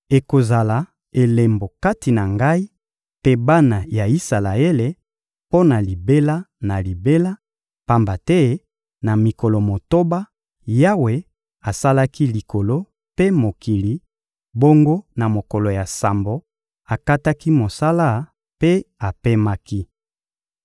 Ekozala elembo kati na Ngai mpe bana ya Isalaele mpo na libela na libela, pamba te na mikolo motoba, Yawe asalaki likolo mpe mokili; bongo na mokolo ya sambo, akataki mosala mpe apemaki.»